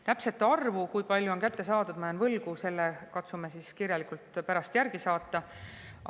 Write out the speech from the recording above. Täpse arvu, kui palju on kätte saadud, ma jään võlgu, selle katsume kirjalikult pärast järgi saata.